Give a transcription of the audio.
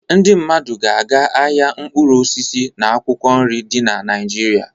Ndị mmadụ ga-aga ahịa mkpụrụ osisi na akwụkwọ nri dị na Naịjirịa.